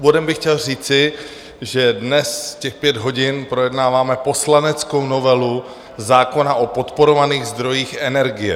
Úvodem bych chtěl říci, že dnes těch pět hodin projednáváme poslaneckou novelu zákona o podporovaných zdrojích energie.